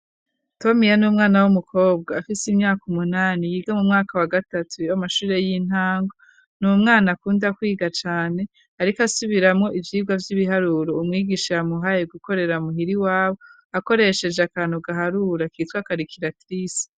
Tomiya n'umwana w'umukobwa afise imyaka umunani yiga mu mwaka wa gatatu yamashure y'intango ni umwana akunda kwiga cane ariko asubiramo ivyirwa vy'ibiharuro umwigisha yamuhaye gukorera muhiri wabo akoresheje akantu gaharura kitwa karikiratirise.